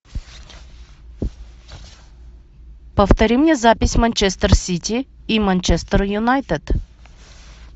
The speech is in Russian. повтори мне запись манчестер сити и манчестер юнайтед